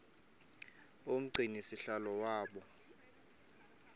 umgcini sihlalo waba